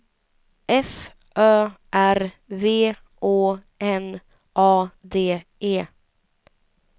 F Ö R V Å N A D E